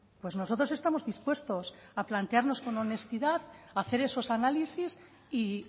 pues nosotros estamos dispuestos a plantearnos con honestidad a hacer esos análisis y